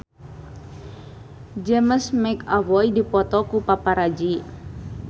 James McAvoy dipoto ku paparazi